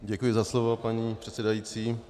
Děkuji za slovo, paní předsedající.